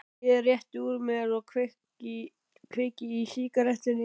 Ég rétti úr mér og kveiki í sígarettunni.